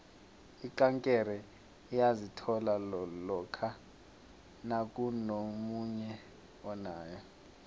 ikankere uyayithola lokha nakunomunye onayo